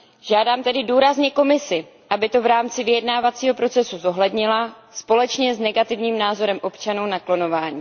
Žádám tedy důrazně Komisi, aby to v rámci vyjednávacího procesu zohlednila společně s negativním názorem občanů na klonování.